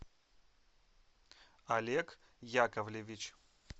олег яковлевич